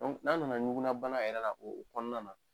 N'an nana ŋugunabana yɛrɛ la o kɔnɔna na.